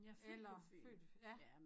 Eller født ja